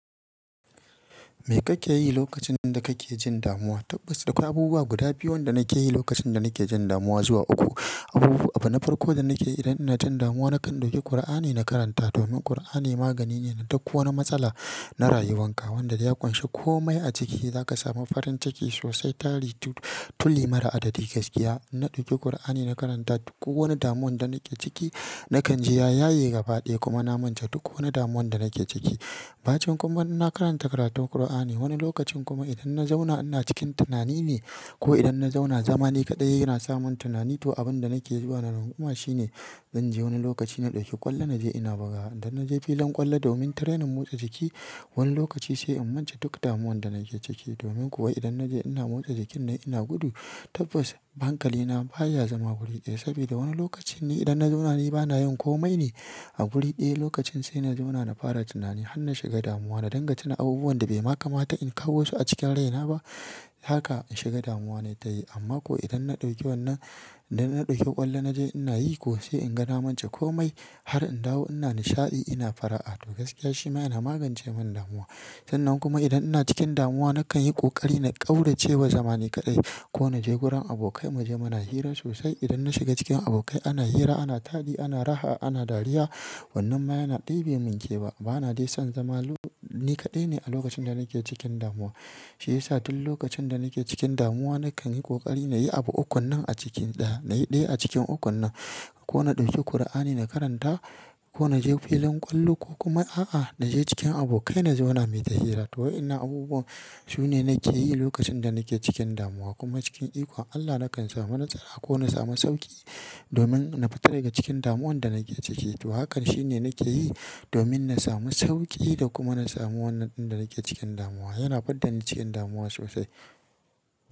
Me kake yi lokacin da kake jin damuwa? Tabbas akwai abubuwa guda biyu wanda nake yi lokacin da nake jin damuwa zuwa uku. Abubu abu na farko da nake yi idan ina jin damuwa nakan ɗauki Kur'ani na karanta domin Kur'ani magani ne na duk wani matsala, na rayuwanka wanda ya ƙunshi komai a ciki. Zaka samu farin ciki sosai tari tuli mara adadi gaskiya. In na ɗauki Kur'ani na karanta duk wani damuwan da nake ciki nakan ji ya yaye gabaɗaya kuma na manta duk wani damuwan da nake ciki. Facin kuma ina karanta karatun Kur'ani. Wani lokacin kuma idan na zauna ina cikin tunani ne ko idan na zauna zama ni kaɗai yana samun tunani to abin da nake zuwa na yin kuma shine zan je wani lokaci na ɗauki ƙwallo na je ina bugawa. Idan na je filin ƙwallo domin trainin motsa jiki, wani lokaci sai in manta duk damuwan da nake ciki. Domin kuwa idan naje ina motsa jikin ne ina gudu tabbas hankali na baya zama guri daya sabida wani lokacin in na zauna ni bana yin komai neh. Lokacin sai na zauna na fara tunani har na shiga damuwa na dinga tuna abubuwan da bai makamata in kawo su a cikin raina ba. Haka shiga damuwa natayi, amma ko idan na dauki wannan idan na dauki kwallo naje ina yi ko sai inga na manta komai har in dawo ina nishadi ina fara'a to gaskiya shi ma ya na magance min damuwa. Sannan kuma idan ina cikin damuwa nakan yi ƙoƙari na ƙaurace wa zama ni kaɗai ko na je gurin abokai mu je muna hira sosai. Idan na shiga cikin abokai ana hira, ana tadi, ana raha, ana dariya wannan ma yana de bai min kewa. Bana dai son zama ni kadai neh a lokacin da nake cikin damuwa. Shi yasa duk lokacin da nake cikin damuwa nakan yi ƙoƙari na yi abu ukun nan a cikin ɗaya. Na yi ɗaya a cikin ukun nan ko na ɗauki Kur'ani na karanta ko na je filin ƙwallo ko kuma a'a, na je cikin abokai na zauna muyi ta hira. To wa'ennan abubuwan sune nake yi lokacin da nake cikin damuwa kuma cikin iko Allah nakan samu nasara ko na samu sauƙi domin na fita daga cikin damuwan da nake ciki. To hakan shine nake yi domin na samu sauƙi da kuma na samu wannan din da nake cikin damuwa. Yana fidda ni cikin damuwa sosai.